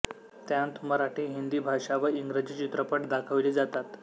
त्यांत मराठी हिंदी भाषा व इंग्रजी चित्रपट दाखविले जातात